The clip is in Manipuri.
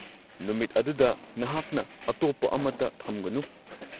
ꯅꯨꯃꯤꯠ ꯑꯗꯨꯗ ꯅꯍꯥꯛꯅ ꯑꯇꯣꯞꯄ ꯑꯃꯠꯇ ꯊꯝꯒꯅꯨ꯫